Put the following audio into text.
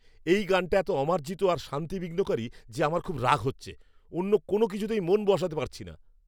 এই গানটা এত অমার্জিত আর শান্তি বিঘ্নকারী যে আমার খুব রাগ হচ্ছে। অন্য কোনও কিছুতেই মন বসাতে পারছি না।